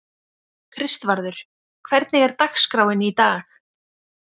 Kristvarður, hvernig er dagskráin í dag?